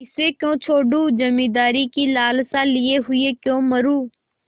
इसे क्यों छोडूँ जमींदारी की लालसा लिये हुए क्यों मरुँ